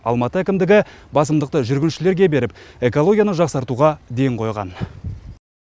алматы әкімдігі басымдықты жүргіншілерге беріп экологияны жақсартуға ден қойған